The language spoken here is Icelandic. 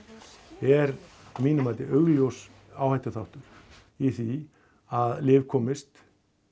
er að mínu mati augljós áhættuþáttur í því að lyf komist